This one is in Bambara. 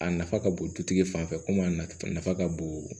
A nafa ka bon dutigi fan fɛ komi a nafa ka bon